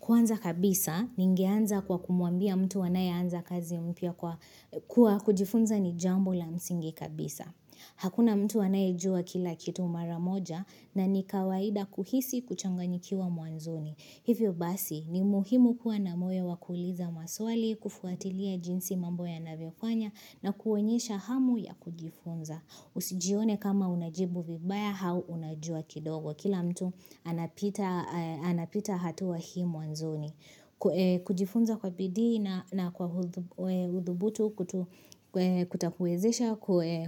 Kwanza kabisa, ningeanza kwa kumwambia mtu anayeanza kazi mpya kuwa kujifunza ni jambo la msingi kabisa. Hakuna mtu anayejua kila kitu mara moja na ni kawaida kuhisi kuchanganyikiwa mwanzoni. Hivyo basi, ni muhimu kuwa na moyo wa kuuliza maswali, kufuatilia jinsi mambo yanavyofanya na kuonyesha hamu ya kujifunza. Usijione kama unajibu vibaya au unajua kidogo. Kila mtu anapita hatua hii mwanzoni. Kujifunza kwa bidii na kwa udhubutu kutakuwezesha